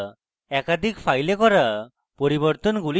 একটি file করা পরিবর্তনগুলি সরানো এবং